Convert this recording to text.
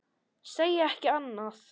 Segi ekki annað.